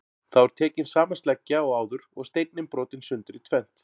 Þá er tekin sama sleggja og áður og steinninn brotinn sundur í tvennt.